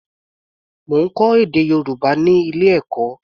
Mo ń kọ́ èdè Yorùbá ní ilé-ẹ̀kọ́.